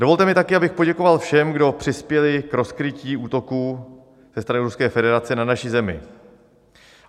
Dovolte mi taky, abych poděkoval všem, kdo přispěli k rozkrytí útoků ze strany Ruské federace na naši zemi.